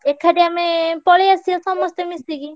ଏଖାଠି ଆମେ ପଳେଇଆସିଆ ସମସ୍ତେ ମିଶିକି।